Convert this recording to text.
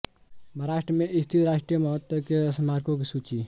महाराष्ट्र में स्थित राष्ट्रीय महत्व के स्मारकों की सूची